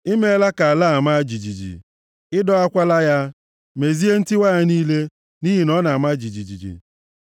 I meela ka ala a maa jijiji, ị dọwakwala ya; mezie ntiwa ya niile, nʼihi na ọ na-ama jijiji.